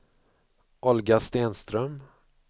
Olga Stenström